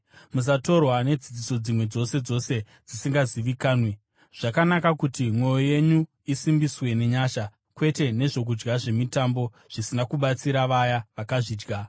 Musatorwa nedzidziso dzimwe dzose dzose dzisingazivikanwi. Zvakanaka kuti mwoyo yedu isimbiswe nenyasha, kwete nezvokudya zvemitambo, zvisina kubatsira vaya vakazvidya.